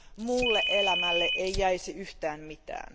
Muulle elämälle ei jäisi yhtään mitään.